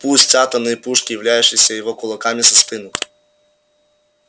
пусть атомные пушки являющиеся его кулаками застынут